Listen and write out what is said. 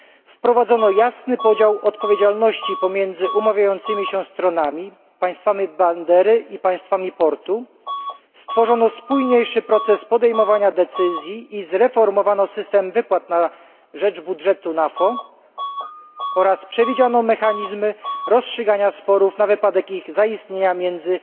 wprowadzono jasny podział odpowiedzialności pomiędzy umawiającymi się stronami, państwami bandery i państwami portu, stworzono spójniejszy proces podejmowania decyzji i zreformowano system wypłat na rzecz budżetu NAFO oraz przewidziano mechanizmy rozstrzygania sporów na wypadek ich zaistnienia między